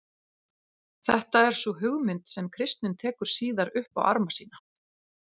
Þetta er sú hugmynd sem kristnin tekur síðar upp á arma sína.